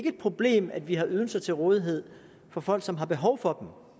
et problem at vi har ydelser til rådighed for folk som har behov for